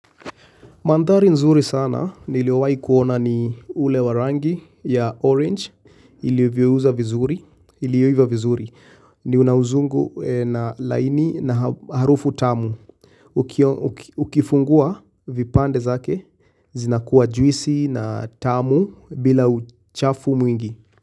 Mandhari nzuri sana niliyowahi kuona ni ule warangi ya orange ilioiva vizuri ni unauzungu na laini na harufu tamu ukifungua vipande zake zina kuwa juisi na tamu bila uchafu mwingi.